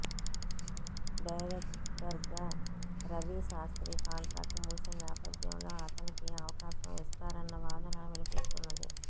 డైరెక్టర్గా రవి శాస్ర్తీ కాంట్రాక్టు ముగిసిన నేపథ్యంలో అతనికి అవకాశం ఇస్తారన్న వాదన వినిపిస్తున్నది